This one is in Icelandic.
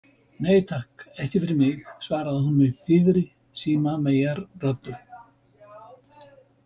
Nei, takk, ekki fyrir mig, svaraði hún með þýðri símameyjarröddu.